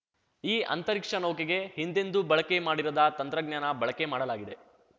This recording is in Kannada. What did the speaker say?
ಈ ಅಂತರಿಕ್ಷ ನೌಕೆಗೆ ಹಿಂದೆಂದೂ ಬಳಕೆ ಮಾಡಿರದ ತಂತ್ರಜ್ಞಾನ ಬಳಕೆ ಮಾಡಲಾಗಿದೆ